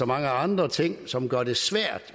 mange andre ting som gør det svært